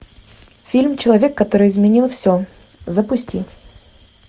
фильм человек который изменил все запусти